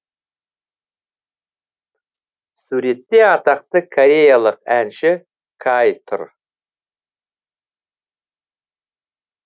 суретте атақты кореялық әнші каи тұр